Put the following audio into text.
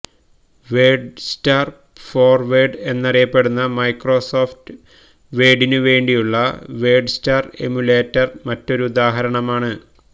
WordStar for Word എന്നറിയപ്പെടുന്ന Microsoft വേഡിനുവേണ്ടിയുള്ള WordStar emulator മറ്റൊരുദാഹരണമാണ്